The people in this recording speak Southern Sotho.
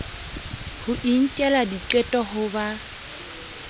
ho inkela diqeto ha ba